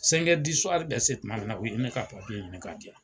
be se tuma min na u ye ne ka ɲini ka di yan.